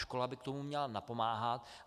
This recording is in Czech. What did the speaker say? Škola by k tomu měla napomáhat.